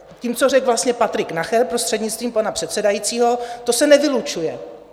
Tím, co řekl vlastně Patrik Nacher, prostřednictvím pana předsedajícího, to se nevylučuje.